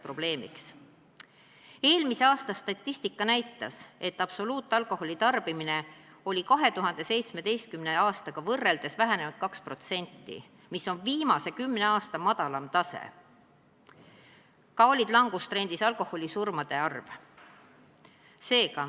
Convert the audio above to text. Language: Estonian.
Eelmise aasta statistika näitas, et absoluutalkoholi tarbimine on 2017. aastaga võrreldes vähenenud 2%, mis on viimase 10 aasta madalaimal tasemel, ka on langustrendis alkoholisurmade arv.